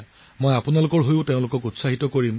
আপোনালোকৰ হৈ মই তেওঁলোকক উৎসাহিত কৰিম